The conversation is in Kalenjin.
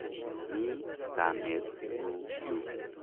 Mi kamet nyu yu.